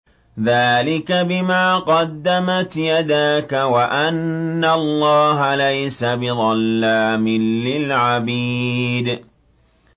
ذَٰلِكَ بِمَا قَدَّمَتْ يَدَاكَ وَأَنَّ اللَّهَ لَيْسَ بِظَلَّامٍ لِّلْعَبِيدِ